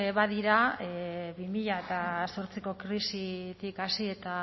badira bi mila zortziko krisitik hasi eta